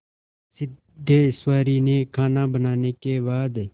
सिद्धेश्वरी ने खाना बनाने के बाद